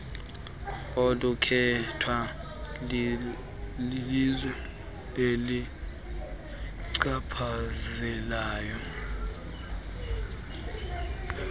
olukhethwa lilizwe elichaphazelekayo